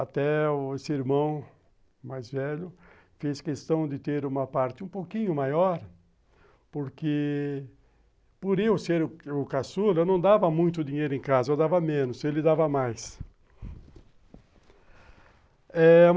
Até o irmão mais velho fez questão de ter uma parte um pouquinho maior, porque por eu ser o caçula, eu não dava muito dinheiro em casa, eu dava menos, ele dava mais.